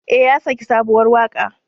Ee, ya saki sabuwar waƙa.